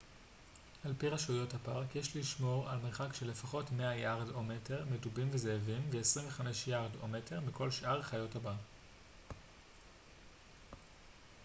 על פי רשויות הפארק יש לשמור על מרחק של לפחות 100 יארד/מטר מדובים וזאבים ו-25 יארד/מטר מכל שאר חיות הבר!